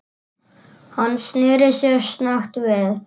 Hann sneri sér snöggt við.